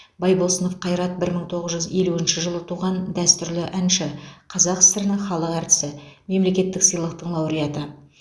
байбосынов қайрат бір мың тоғыз жүз елуінші жылы туған дәстүрлі әнші қазақ сср інің халық әртісі мемлекеттік сыйлықтың лауреаты